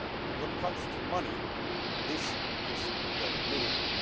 When it comes to money, this is the minimum.